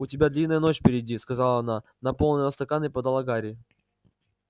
у тебя длинная ночь впереди сказала она наполнила стакан и подала гарри